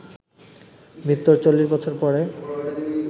মৃত্যুর চল্লিশ বছর পরে